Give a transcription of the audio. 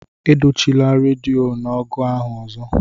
Edoghachila redio n'agu ahụ ọzọ!